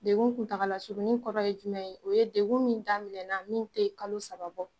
Degun kuntagala surunnin kɔrɔ ye jumɛn ye o ye degun min daminɛna min tɛ kalo saba bɔ